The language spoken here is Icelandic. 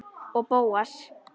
Og Bóas.